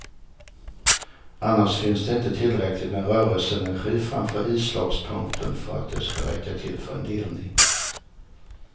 Annars finns det inte tillräckligt med rörelseenergi framför islagspunkten för att det ska räcka till för en delning.